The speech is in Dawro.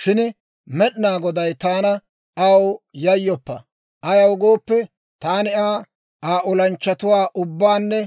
Shin Med'inaa Goday taana; ‹Aw yayyoppa! Ayaw gooppe, taani Aa, Aa olanchchatuwaa ubbaananne